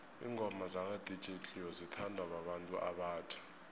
ingoma zaka dj cleo zithanwa babantu abatjha